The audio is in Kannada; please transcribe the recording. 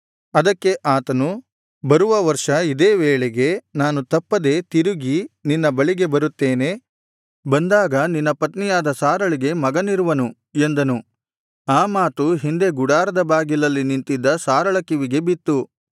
ಅದಕ್ಕೆ ಆತನು ಬರುವ ವರ್ಷ ಇದೇ ವೇಳೆಗೆ ನಾನು ತಪ್ಪದೆ ತಿರುಗಿ ನಿನ್ನ ಬಳಿಗೆ ಬರುತ್ತೇನೆ ಬಂದಾಗ ನಿನ್ನ ಪತ್ನಿಯಾದ ಸಾರಳಿಗೆ ಮಗನಿರುವನು ಎಂದನು ಆ ಮಾತು ಹಿಂದೆ ಗುಡಾರದ ಬಾಗಿಲಲ್ಲಿ ನಿಂತಿದ್ದ ಸಾರಳ ಕಿವಿಗೆ ಬಿತ್ತು